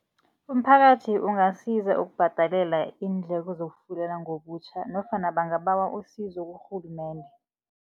Umphakathi ungasiza ukubhadalela iindleko zokufulela ngobutjha nofana bangabawa isizo kurhulumende.